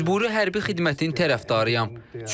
Məcburi hərbi xidmətin tərəfdarıyam.